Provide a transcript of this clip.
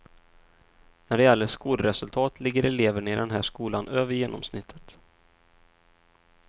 När det gäller skolresultat ligger eleverna i den här skolan över genomsnittet.